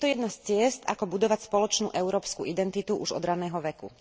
Je to jedna z ciest, ako budovať spoločnú európsku identitu už od ranného veku.